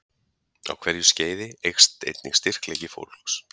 Á hverju skeiði eykst einnig styrkleiki fólks.